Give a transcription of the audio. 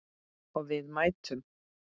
Og við mættum.